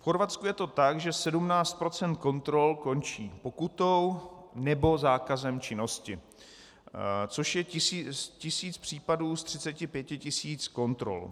V Chorvatsku je to tak, že 17 % kontrol končí pokutou nebo zákazem činnosti, což je tisíc případů z 35 tisíc kontrol.